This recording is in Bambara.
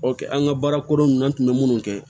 an ka baara koronna an kun be munnu kɛ